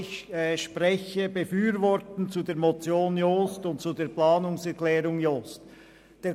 Ich unterstütze die Motion Jost und die Planungserklärung Jost ebenfalls.